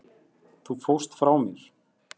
Þú fórst frá mér.